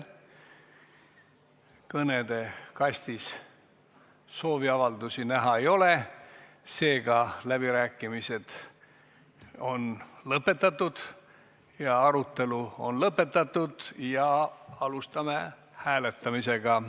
Kõnede kastis sooviavaldusi näha ei ole, seega arutelu on lõppenud ja alustame hääletamist.